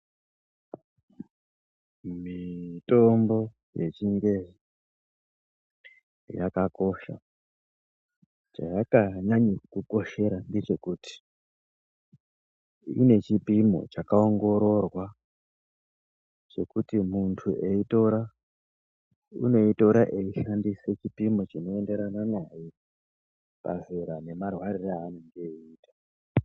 Mitombo yechingezi yakakosha, chayakanyanyira kukoshera ndechekuti ine chipimo chakaongororwa. Chekuti muntu eitora, unoitora eishandisa chipimo chinoenderana naye pazera nemarwariro aanenge eita.